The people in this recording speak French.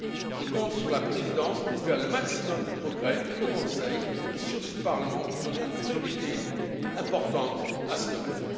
Je compte sur la présidence pour faire un maximum de progrès au Conseil, et sur ce Parlement pour donner une priorité importante à ce domaine.